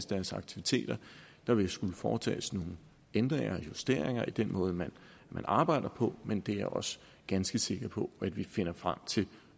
deres aktiviteter der vil skulle foretages nogle ændringer og justeringer i den måde man arbejder på men det er jeg også ganske sikker på at vi finder frem til